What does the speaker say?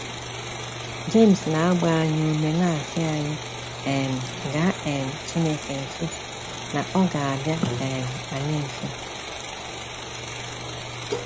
James na agba anyị ume na asi anyị um ga um Chineke nso na ọga abịa um anyị nso